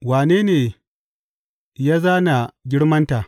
Wane ne ya zāna girmanta?